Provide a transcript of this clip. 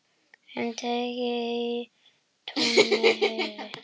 Um teig í túni heyri.